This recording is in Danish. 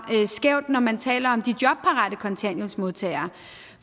skævt når man taler om de jobparate kontanthjælpsmodtagere